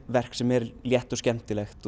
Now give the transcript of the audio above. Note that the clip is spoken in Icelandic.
verk sem er létt og skemmtilegt